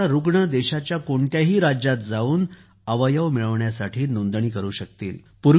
म्हणजेच आता रुग्ण देशाच्या कोणत्याही राज्यात जाऊन अवयव मिळविण्यासाठी नोंदणी करू शकतील